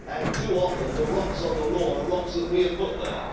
Too often, the rocks on the lawn are rocks that we have put there.